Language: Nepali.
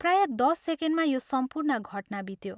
प्राय दश सेकेण्डमा यो सम्पूर्ण घटना बित्यो।